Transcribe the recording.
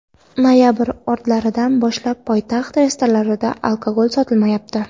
Noyabr o‘rtalaridan boshlab poytaxt restoranlarida alkogol sotilmayapti.